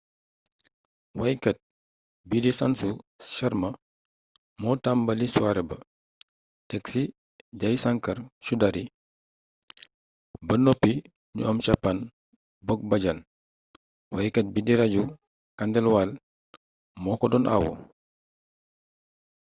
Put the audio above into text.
waykat bii di sanju sharma moo tàmbali soirée ba teg ci jai shankar choudhary ba noppi ñu am chhappan bhog bhajan waykat bii di raju khandelwal moo ko doon awu